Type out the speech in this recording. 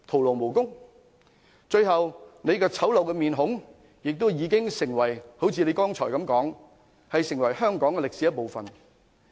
到最後，她醜陋的面孔亦會如她剛才所說般成為香港歷史的一部分。